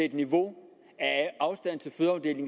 et niveau